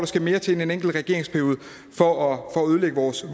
skal mere til end en enkelt regeringsperiode for at ødelægge vores